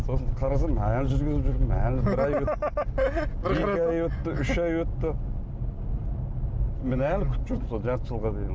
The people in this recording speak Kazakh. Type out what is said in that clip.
сосын қарасам әлі жүргізіп жүрмін әлі екі ай өтті үш ай өтті міне әлі күтіп жүрдім сол жарты жылға дейін